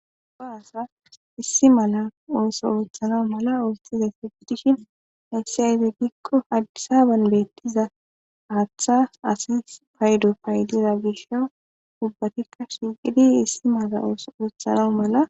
go asa issi mala ooso uuthana mala oostizay fegidishin hayssi ayfe giikko hadisaaban beettiza haaththa asi paydo paydida bisho ubbatikka shiiqidi issi mala oso uruthana mala